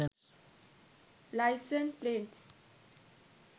license plates